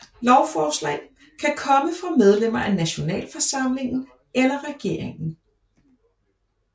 Lovforslag kan komme fra medlemmer af nationalforsamlingen eller regeringen